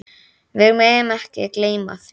Við megum ekki gleyma því.